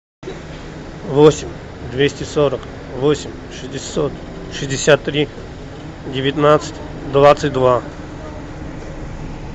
восемь двести сорок восемь шестьдесят три девятнадцать двадцать два